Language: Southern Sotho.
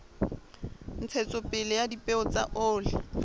ntshetsopele ya dipeo tsa oli